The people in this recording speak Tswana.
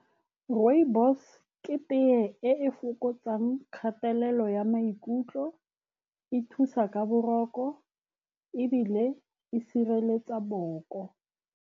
Rooibos-e ke tea e e fokotsang kgatelelo ya maikutlo. E thusa ka boroko, ebile e sireletsa boboko.